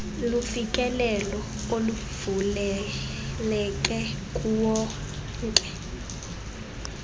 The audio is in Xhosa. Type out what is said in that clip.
lufikelelo oluvuleleke kuwonke